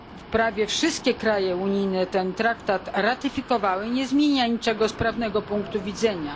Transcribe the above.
że prawie wszystkie kraje unijne ten traktat ratyfikowały, nie zmienia niczego z prawnego punktu widzenia.